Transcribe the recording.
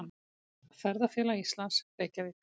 Ferðafélag Íslands, Reykjavík.